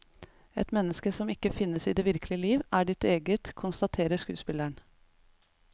Et menneske som ikke finnes i det virkelige liv, er ditt eget, konstaterer skuespilleren.